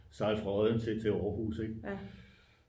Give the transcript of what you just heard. sejle fra odden til aarhus ik